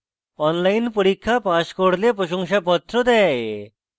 online পরীক্ষা pass করলে প্রশংসাপত্র দেয়